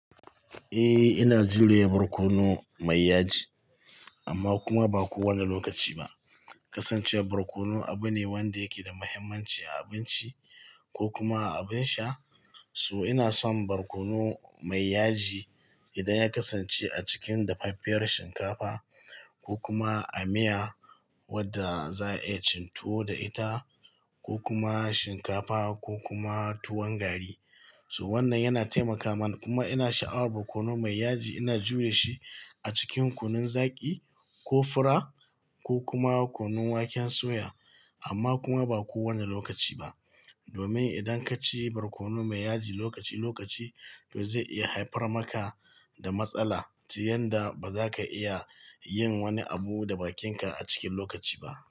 Eh, ina jurewa barkono mai yaji, amma kuma ba kowane lokaci ba. Kasancewar barkono abu ne wanda yake da mahimmanci a abinci ko kuma a abin sha. So ina son barkono mai yaji idan ya kasance a cikin dafaffiyar shinkafa ko kuma a miya wadda za a iya cin tuwo da ita ko kuma shinkafa ko kuma tuwon gari. So wannan yana taimaka mana, kuma ina sha'awar barkono mai yaji ina juye shi a cikin kunun zaki ko fura ko kuma kunun waken soya. Amma kuma ba kowane lokaci ba, domin idan ka ci barkono mai yaji lokaci-lokaci, to zai iya haifar maka da matsala, tun yadda ba za ka iya yin wani abu da bakinka a cikin lokaci ba.